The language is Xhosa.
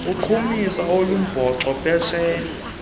uqhumisa olumbhoxo phesha